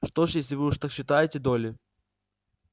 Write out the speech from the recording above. что ж если уж вы так считаете долли